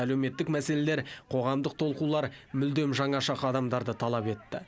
әлеуметтік мәселелер қоғамдық толқулар мүлдем жаңаша қадамдарды талап етті